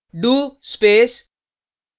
do space